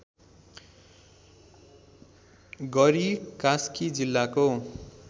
गरी कास्की जिल्लाको